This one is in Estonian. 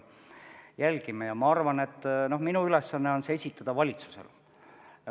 Me jälgime olukorda ja ma arvan, et minu ülesanne on esitada valitsusele oma soovid.